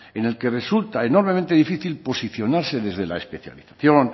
en el que resulta enormemente difícil posicionarse desde la especialización